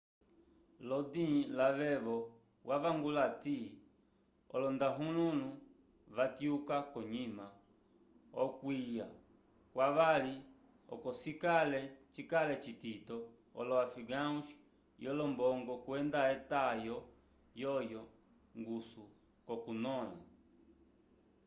lodin lavevo wavangula ati olondahululu va tyuka konyima okwiya kwavali oco cikale citito olo afegãos yo lombongo kwenda etayo yo ngusu ko kunola